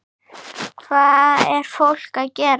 Hvað er fólk að gera?